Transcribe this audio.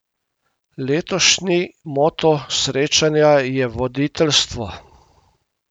Letošnji moto srečanja je voditeljstvo.